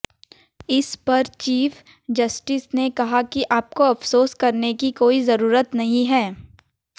इस पर chief justice ने कहा कि आपको अफसोस करने की कोई जरूरत नहीं है